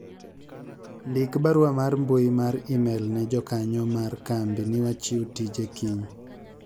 ndik barua mar mbui mar email ne jakanyo mar kambi ni wachiw tije kiny